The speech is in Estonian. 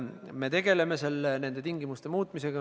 Me tegeleme nende tingimuste muutmisega.